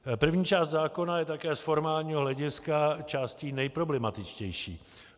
První část zákona je také z formálního hlediska částí nejproblematičtější.